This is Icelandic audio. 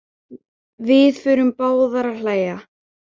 Við förum báðar að hlæja.